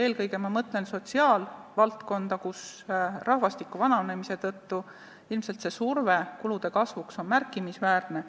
Eelkõige ma mõtlen sotsiaalvaldkonda, kus rahvastiku vananemise tõttu ilmselt see surve kulude kasvuks on märkimisväärne.